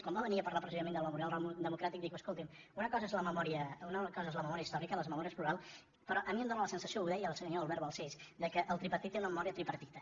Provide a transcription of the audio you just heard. quan va venir a parlar precisament del memorial democràtic va dir escolti’m una cosa és la memòria històrica les memòries en plural però a mi em dóna la sensació ho deia el senyor albert balcells que el tripartit té una memòria tripartida